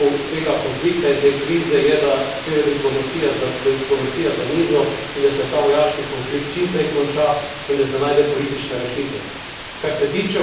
Ključna rešitev tega konflikta in te krize je, da sede diplomacija za mizo in da se ta vojaški konflikt čim prej konča in da se najde politična rešitev.